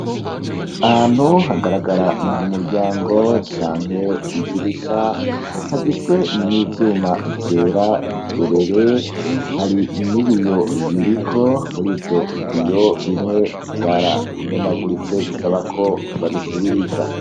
Ahantu hagaragara nk'umuryango canke idirisha hagizwe n'ivyuma vyera derere, hari n'ibiyo biriko, muri ivyo biyo bimwe vyaramenaguritse, bisaba ko babisubiriza.